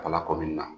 Ka lakodili la